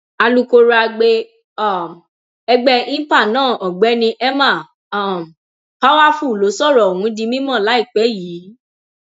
alūkró agbe um ẹgbẹ inpa náà ọgbẹni emma um powerfull ló sọrọ ọhún di mímọ láìpẹ yìí